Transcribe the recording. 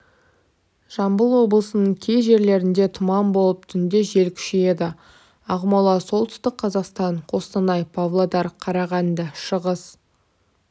жамбыл облысының кей жерлерінде тұман болып түнде жел күшейеді ақмола солтүстік қазақстан қостанай павлодар қарағанды шығыс